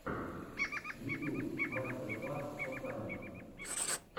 ютюб мастер класс котайн